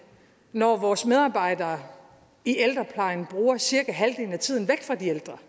når vores medarbejdere i ældreplejen bruger cirka halvdelen af tiden væk fra de ældre